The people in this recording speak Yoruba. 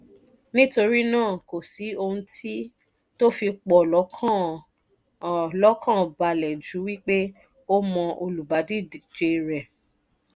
nítorí náà kò sí ohun tó fi p ọ̀ lọ́kàn ọ̀ lọ́kàn ba le ju wí pé o mọ olùbádíje rẹ